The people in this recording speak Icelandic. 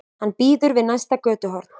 Hann bíður við næsta götuhorn.